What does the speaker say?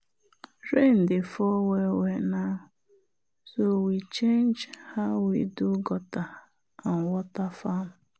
rain dey fall well well now so we change how we do gutter and water farm.